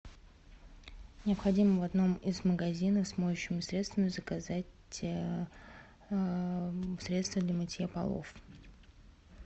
необходимо в одном из магазинов с моющими средствами заказать средство для мытья полов